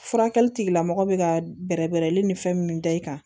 Furakɛli tigilamɔgɔ bɛ ka bɛrɛ bɛrɛ ni fɛn min da i kan